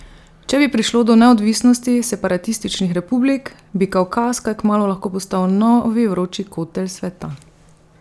Če bi prišlo do neodvisnosti separatističnih republik, bi Kavkaz kaj kmalu lahko postal novi vroči kotel sveta.